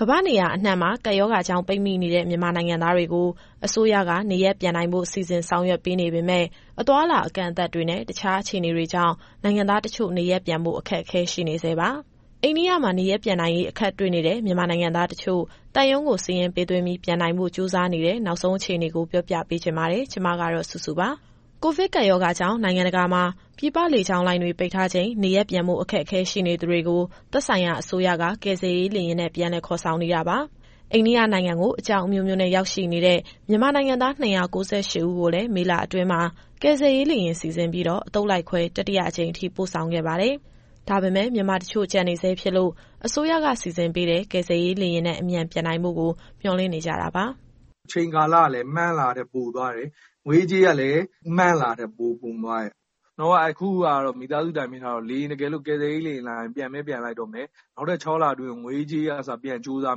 ကမ္ဘာ့နေရာအနှံ့မှာ ကပ်ရောဂါကြောင့်ပိတ်မိနေတဲ့ မြန်မာနိုင်ငံသားတွေကို အစိုးရက နေရပ်ပြန်နိုင်ဖို့ စီစဉ်ဆောင်ရွက်ပေးနေပေမယ့်၊ အသွားအလာအကန့်အသတ်တွေနဲ့အခြားအခြေအနေတွေကြောင့် နိုင်ငံသားတချို့ နေရပ်ပြန်ဖို့ ခက်ခဲနေဆဲပါ။ အိန္ဒိယနိုင်ငံမှာ နေရပ်ပြန်နိုင်ရေး အခက်တွေ့နေတဲ့ မြန်မာနိုင်ငံသားတချို့ သံရုံးကိုစာရင်းပေးသွင်းပြီး ပြန်နိုင်ဖို့ ကြိုးစားနေတဲ့ နောက်ဆုံးအခြေအနေကို ဗွီအိုအေမြန်မာပိုင်း သတင်းထောက်စုစုက ပြောပြသွားမှာပါ။ ကိုဗစ်ကပ်ရောဂါကြောင့် နိုင်ငံတကာမှာ ပြည်ပလေကြောင်းလိုင်းတွေ ပိတ်ထားချိန် နေရပ်ပြန်ဖို့အခက်အခဲရှိနေသူတွေကို သက်ဆိုင်ရာအစိုးရက ကယ်ဆယ်ရေးလေယာဉ်နဲ့ ပြန်လည်ခေါ်ဆောင်နေတာပါ။ အိန္ဒိယနိုင်ငံကို အကြောင်းအမျိုးမျိုးနဲ့ ရောက်ရှိနေတဲ့ မြန်မာနိုင်ငံသား ၂၉၈ဦးကိုလည်း မေလအတွင်းမှာ ကယ်ဆယ်ရေးလေယာဉ်စီစဉ်ပြီး အသုတ်လိုက်ခွဲ တတိယအကြိမ်ထိ ပို့ဆောင်ခဲ့ပါတယ်။ ဒါပေမယ့် မြန်မာတချို့ကျန်နေဆဲဖြစ်လို့ အစိုးရကစီစဉ်ပေးတဲ့ ကယ်ဆယ်ရေးလေယာဉ်နဲ့ အမြန်ပြန်နိုင်ဖို့ မျှော်လင့်နေကြတာပါ။ “အချိန်ကာလကလည်း မှန်းလာတာထက် ပိုသွားတယ်။ ငွေရေးကြေးရေးကလည်း မှန်းလာတာထက် ပိုကုန်သွားတယ်။ အခုမိသားစုတိုင်ပင်ထားတာတော့ တကယ်လို့ကယ်ဆယ်ရေးလေယာဉ်လာရင် ပြန်ပဲပြန်လိုက်တော့မယ်။ နောက်ထပ် ၆လအတွင်းကို ငွေရေးကြေးရေးကအစ ပြန်ကြိုးစား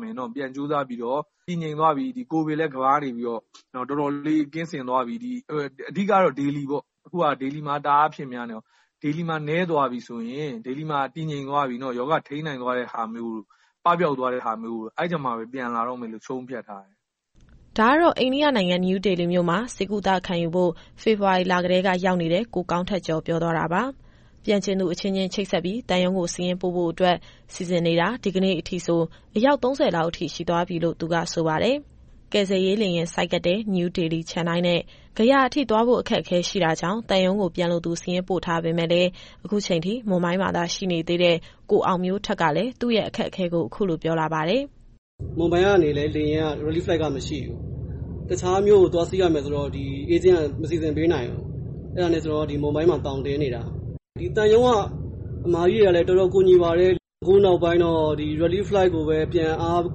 ပြီးတော့ ကိုဗစ်လည်း ကမ္ဘာကနေပြီးတော့ တော်တော်လေးကင်းစင်သွားပြီ အဓိကတော့ ဒေလီပေါ့။ အခုက ဒေလီမှာတအားအဖြစ်များနေတော့ ဒေလီမှာ ရောဂါထိန်းနိုင်သွားတာမျိုး ပပျောက်သွားတာမျိုး အဲဒီအခါမှပဲ ပြန်လာတော့မယ်လို့ ဆုံးဖြတ်ထားတယ်။” ဒါကတော့ အိန္ဒိယနိုင်ငံ၊ နယူးဒေလီမြို့မှာ ဆေးကုသခံယူဖို့ ဖေဖော်ဝါရီလကတည်းကရောက်နေတဲ့ ကိုကောင်းထက်ကျော် ပြောသွားတာပါ။ ပြန်ချင်သူအချင်းချင်း ချိတ်ဆက်ပြီး သံရုံးကိုစာရင်းပို့ဖို့အတွက် စီစဉ်နေတာ ဒီကနေ့အထိဆို အယောက် ၃၀လောက်ရှိသွားပြီလို့ သူကဆိုပါတယ်။ ကယ်ဆယ်ရေးလေယာဉ် ဆိုက်ကပ်တဲ့ နယူးဒေလီ၊ ချန်နိုင်းနဲ့ ဂယာအထိသွားဖို့အခက်အခဲရှိတာကြောင့် သံရုံးကိုပြန်လိုသူစာရင်းပို့ထားပေမယ့်လည်း အခုချိန်ထိ မွမ်ဘိုင်းမှာသာရှိနေသေးတဲ့ ကိုအောင်မျိုးထက်ကလည်း သူ့ရဲ့အခက်အခဲကို အခုလိုပြောလာပါတယ်။ “မွမ်ဘိုင်းကနေလည်း Relief Flight ကမရှိဘူး။ တခြားမြို့ကိုသွားစီးရမယ်ဆိုတော့ Agent က မစီစဉ်ပေးနိုင်ဘူး။ အဲဒါနဲ့ ကျနော်က မွမ်ဘိုင်းမှာ သောင်တင်နေတာ။ သံရုံးကအစ်မတွေကတော့ တော်တော်ကူညီပါတယ်။ အခုနောက်ပိုင်းတော့ ဒီ Relief Flight ကိုပဲ ပြန်အား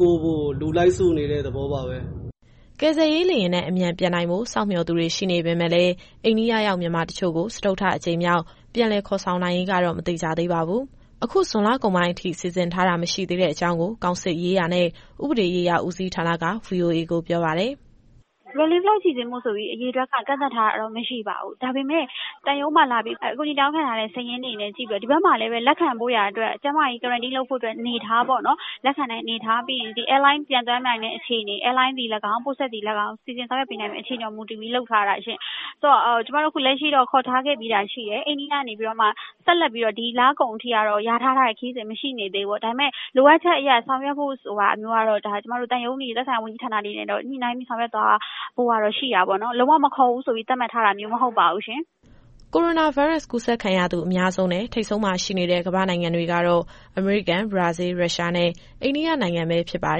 ကိုးဖို့ လူလိုက်စုနေတဲ့သဘောပါပဲ။” ကယ်ဆယ်ရေးလေယာဉ်နဲ့ အမြန်ပြန်နိုင်ဖို့ စောင့်မျှော်သူတွေရှိနေပေမယ့်လည်း အိန္ဒိယရောက်မြန်မာတချို့ကို စတုတ္ထအကြိမ်မြောက် ပြန်လည်ခေါ်ဆောင်နိုင်ရေးကတော့ မသေချာသေးပါဘူး။ အခုဇွန်လကုန်ပိုင်းအထိ စီစဉ်ထားတာမရှိသေးတဲ့အကြောင်းကို ကောင်စစ်ရေးရာနဲ့ ဥပဒေရေးရာဦးစီးဌာနက VOA ကိုပြောပါတယ်။ “Relief Flight စီစဉ်ဖို့ဆိုပြီး အရေအတွက်ကန့်သတ်ထားတာတော့ မရှိပါဘူး။ ဒါပေမယ့် သံရုံးမှာအကူအညီတောင်းခံလာတဲ့ စာရင်းကိုကြည့်ပြီးတော့ ဒီဘက်မှာလည်း လက်ခံဖို့ရာအတွက် Quarantine လက်ခံနိုင်တဲ့အနေအထားပေါ့နော်။ ပြီးရင် Airline ပျံသန်းနိုင်တဲ့အခြေအနေ၊ Airline သည်၎င်း ပို့ဆက်သည်၎င်း စီစဉ်ဆောင်ရွက်ပေးနိုင်မယ့် အခြေအနေပေါ်မူတည်ပြီး လုပ်ထားတာရှင့်။ ဆိုတော့ ကျမတို့အခုလက်ရှိတော့ ခေါ်ထားခဲ့ပြီးတာရှိတယ်။ အိန္ဒိယကနေပြီးမှ ဆက်ပြီးတော့ ဒီလကုန်အထိကတော့ လျာထားတဲ့ခရီးစဉ်မရှိသေးဘူးပေါ့။ ဒါပေမယ့် လိုအပ်ချက်အရ ဆောင်ရွက်ဖို့ဆိုတာမျိုးကတော့ သံရုံးတွေ သက်ဆိုင်ရာဝန်ကြီးဌာနတွေနဲ့ ညှိနှိုင်းပြီးဆောင်ရွက်သွားဖို့ကတော့ ရှိတာပေါ့နော်။ လုံးဝမခေါ်ဘူးဆိုပြီး သတ်မှတ်ထားတာမျိုး မဟုတ်ပါဘူးရှင်။” ကိုရိုနာဗိုင်းရပ်စ် ကူးစက်ခံရသူအများဆုံးနဲ့ ထိပ်ဆုံးမှာရှိနေတဲ့ ကမ္ဘာ့နိုင်ငံတွေကတော့ အမေရိကန်၊ ဘရာဇီး၊ ရုရှားနဲ့ အိန္ဒိယနိုင်ငံ ဖြစ်ပါ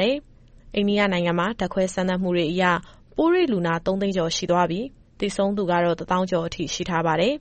တယ်။ အိန္ဒိယနိုင်ငံမှာ ဓါတ်ခွဲစမ်းသပ်မှုအရ ပိုးတွေ့လူနာ သုံးသိန်းကျော်ရှိသွားပြီး၊ သေဆုံးသူကတော့ တသောင်းကျော် ရှိထားပါတယ်